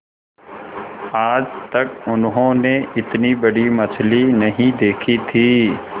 आज तक उन्होंने इतनी बड़ी मछली नहीं देखी थी